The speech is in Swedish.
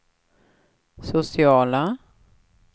sociala